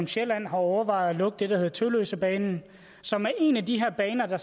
sjælland har overvejet at lukke den bane der hedder tølløsebanen som er en af de her baner der